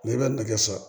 N'i bɛ nɛgɛ san